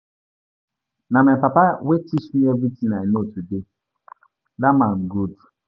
Na my papa wey teach me everything I know today. Dat man good.